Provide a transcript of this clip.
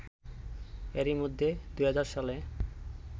এরই মধ্যে ২০০০ সালে